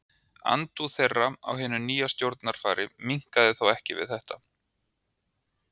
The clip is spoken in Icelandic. Andúð þeirra á hinu nýja stjórnarfari minnkaði þó ekki við þetta.